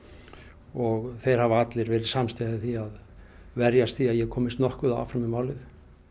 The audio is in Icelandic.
og þeir hafa allir verið samstíga í því að verjast því að ég komist nokkuð áfram með málið